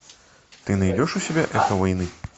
ты найдешь у себя эхо войны